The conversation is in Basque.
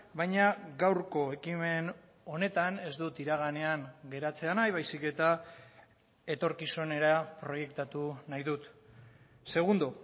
baina gaurko ekimen honetan ez dut iraganean geratzea nahi baizik eta etorkizunera proiektatu nahi dut segundo